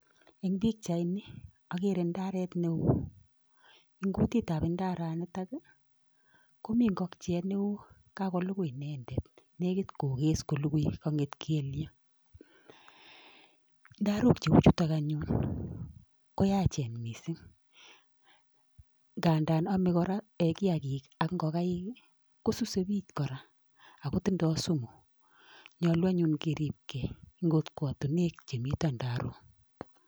Eng pichaini agere ndaret nee oo, eng kutitab ndaranitak ii komiten ngokiet nee oo kakolukui indetet negit kokes kulukui kong'et kelyek, ndarok cheuchutok anyun ko yachen mising, ngadan ame kora um kiagik ak ngokaik ii kosuse pich kora ako tindoi sumu, nyolu anyun keripkei eng kokwotunwek chemito ndarok.